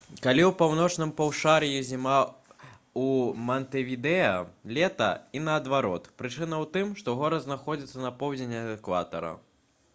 калі ў паўночным паўшар'і зіма у мантэвідэа лета і наадварот прычына ў тым што горад знаходзіцца на поўдзень ад экватара